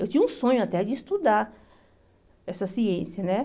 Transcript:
Eu tinha um sonho até de estudar essa ciência, né?